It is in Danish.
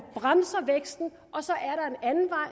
bremser væksten og så er